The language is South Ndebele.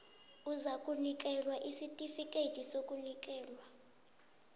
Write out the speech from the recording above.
uzakunikelwa isitifikhethi sokunikelwa